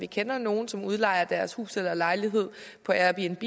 kender nogle som udlejer deres hus eller lejlighed på airbnb